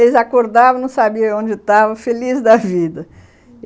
Eles acordavam, não sabiam onde estavam, felizes da vida.